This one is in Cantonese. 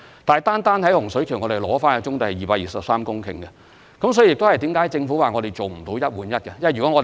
不過，我們單在洪水橋收回的棕地便達到223公頃，因此政府表示無法做到"一換一"。